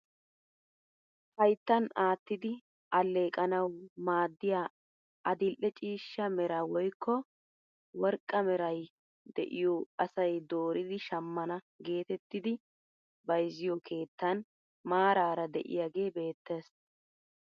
Hayttan aattidi alleqanawu maaddiyaa adil'e ciishsha meraa woykko worqqaa meray de'iyoo asay dooridi shammana getettidi bayzziyoo keettan maarara de'iyaage beettees!